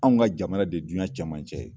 Anw ka jamana de duɲɛ cɛmancɛ ye.